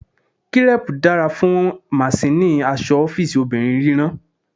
Crepe dara fun masinni aṣọ ọfiisi obinrin rírán.